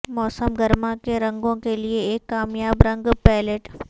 موسم گرما کے رنگوں کے لئے ایک کامیاب رنگ پیلیٹ